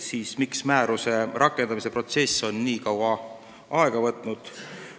Küsiti ka, miks on määruse rakendamise protsess nii kaua aega võtnud.